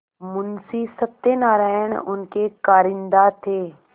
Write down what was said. मुंशी सत्यनारायण उनके कारिंदा थे